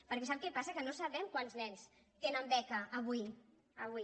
perquè sap què passa que no sabem quants nens tenen beca avui avui